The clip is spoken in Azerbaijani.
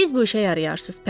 Siz bu işə yarayarsız, pələng.